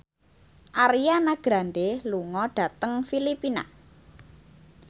Ariana Grande lunga dhateng Filipina